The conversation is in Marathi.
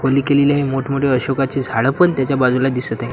केलेली आहे मोठमोठी अशोकाचे झाडं पण त्याच्या बाजूला दिसत आहेत.